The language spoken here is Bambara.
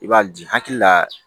I b'a di hakili la